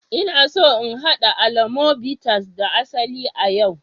Ina so in haɗa alomo bitters da asali a yau